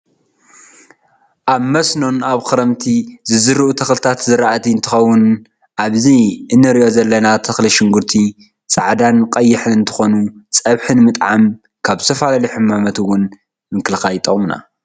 ኣብ መስኖን ኣብ ክረምቲ ዝዝረኡ ተክሊታት ዝራእቲ እትከውኒ ኣበዚ እንረኦ ዘለና ተክሊ ሽጉርቲ ፀቀዕዳን ቀይሕን እንትኮኑ ፀብሒ ንምጥዓምን ካብ ዝተፈላለዩ ሕማማት እውን ይጠቅሙና